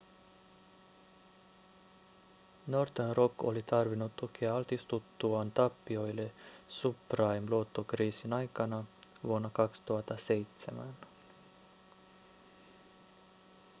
northern rock oli tarvinnut tukea altistuttuaan tappioille subprime-luottokriisin aikana vuonna 2007